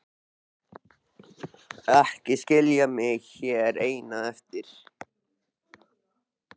Ekki skilja mig hér eina eftir!